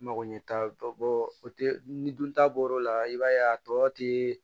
Mago ɲɛ t'a bɔ o tɛ ni dun ta bɔr'o la i b'a ye a tɔ ti